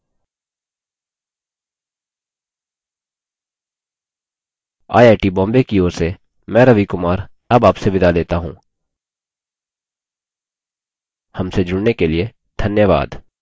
I I T Bombay की ओर से मैं रवि कुमार अब आपसे विदा लेता हूँ हमसे जुड़ने के लिए धन्यवाद